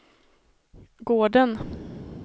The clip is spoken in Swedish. gården